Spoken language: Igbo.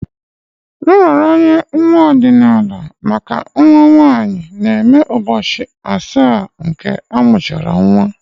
Nraranye nwa ọdịnala maka nwa nwanyị na-eme ụbọchị asaa ka amuchara nwa.